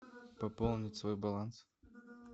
пополнить свой баланс